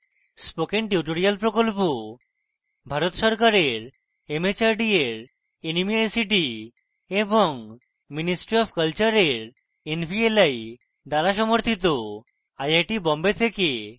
spoken tutorial project ভারত সরকারের mhrd এর nmeict এবং ministry অফ কলচারের nvli দ্বারা সমর্থিত